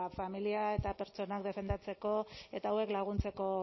familia eta pertsonak defendatzeko eta hauek laguntzeko